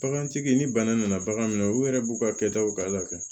Bagantigi ni bana nana bagan minɛ u yɛrɛ b'u ka kɛtaw ka ala kɛ